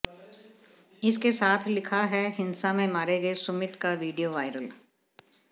इसके साथ लिखा है हिंसा में मारे गए सुमित का वीडियो वायरल